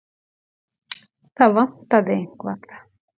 Það vantaði eitthvað.